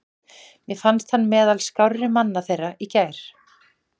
Mér fannst hann meðal skárri manna þeirra í gær.